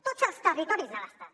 tots els territoris de l’estat